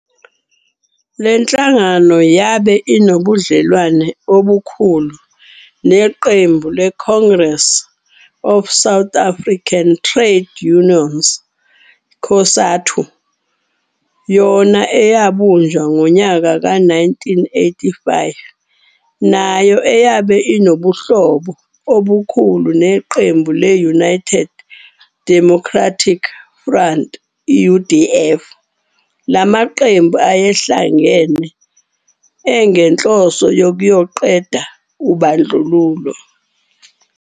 Lenhlanagano yabe inobudlelwano obukhulu neqembu le-i"Congress of South African Trade Unions, COSATU, yona eyabunjwa ngonyaka we-1985 nayo eyabe inobuhlobo obukhu neqembu le-"United Democratic Front, UDF, lamaqembu ayehlangen engenhloso yokuyoqeda ubandlululo.